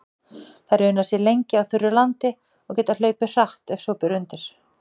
Þær una sér lengi á þurru landi og geta hlaupið hratt ef svo ber undir.